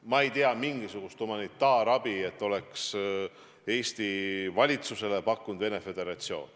Ma ei tea, et mingisugust humanitaarabi oleks Eesti valitsusele pakkunud Venemaa Föderatsioon.